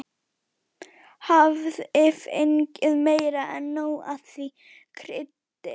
Hafði fengið meira en nóg af því kryddi.